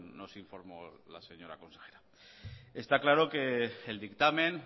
nos informó la señora consejera está claro que el dictamen